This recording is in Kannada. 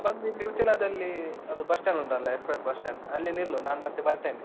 ನೀನ್ ಬಂದು ಇಲ್ಲಿ ಉಚ್ಚಿಲದಲ್ಲಿ ಅದು bus stand ಉಂಟಲ್ಲ, express bus stand , ಅಲ್ಲಿ ನಿಲ್ಲು ನಾನ್ ಮತ್ತೆ ಬರ್ತೇನೆ.